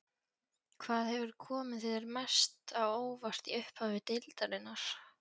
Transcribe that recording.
Hvað hefur komið þér mest á óvart í upphafi deildarinnar?